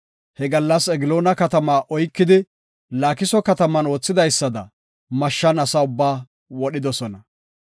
He gallas Egloona katamaa oykidi, Laakiso kataman oothidaysada mashshan ase ubbaa wodhidosona.